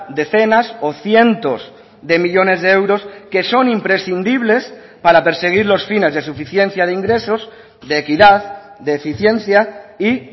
decenas o cientos de millónes de euros que son imprescindibles para perseguir los fines de suficiencia de ingresos de equidad de eficiencia y